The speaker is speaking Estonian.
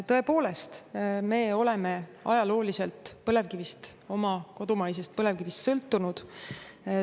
Tõepoolest, me oleme ajalooliselt põlevkivist, oma kodumaisest põlevkivist sõltunud.